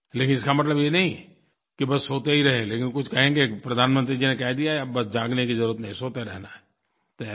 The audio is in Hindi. लेकिन इसका मतलब ये नहीं कि बस सोते ही रहें लेकिन कुछ कहेंगे कि प्रधानमंत्री जी ने कह दिया है अब बस जागने की ज़रुरत नहीं है सोते रहना है